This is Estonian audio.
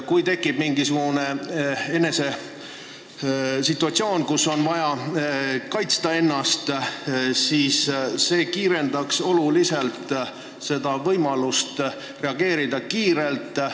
Kui tekib mingisugune situatsioon, kus on vaja ennast kaitsta, siis see kiirendaks oluliselt reageerimise võimalust.